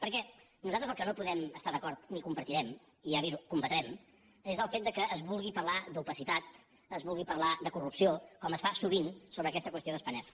perquè nosaltres amb el que no podem estar d’acord ni compartirem i ja aviso combatrem és el fet que es vulgui parlar d’opacitat es vulgui parlar de corrupció com es fa sovint sobre aquesta qüestió de spanair